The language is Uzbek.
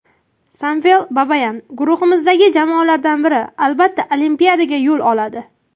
Samvel Babayan: Guruhimizdagi jamoalardan biri albatta Olimpiadaga yo‘l oladi.